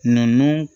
Nunnu